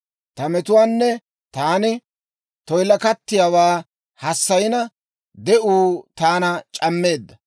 Ta metuwaanne taani toyilakattiyaawaa hassayina, de'uu taana c'ammeedda.